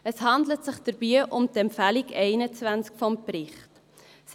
Es handelt sich dabei um die Empfehlung 21 des Berichts.